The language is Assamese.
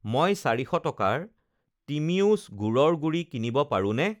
মই 400 টকাৰ টিমিওছ গুড়ৰ গুড়ি কিনিব পাৰোঁনে?